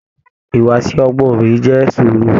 Ìwùwàsi ọgbọn obìnrin jẹ sùúrù.